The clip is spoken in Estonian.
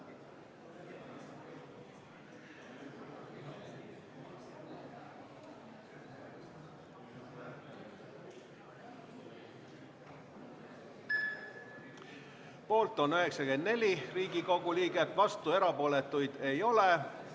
Hääletustulemused Poolt on 94 Riigikogu liiget, vastuolijaid ja erapooletuid ei ole.